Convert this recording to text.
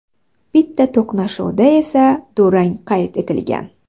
Bitta to‘qnashuvda esa durang qayd etgan.